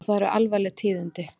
Og það eru alvarleg tíðindi.